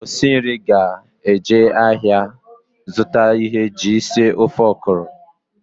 Osi nri ga-aga ahịa azụta ihe anyị ji esi ofe ọkwụrụ.